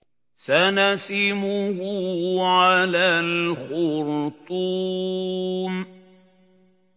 سَنَسِمُهُ عَلَى الْخُرْطُومِ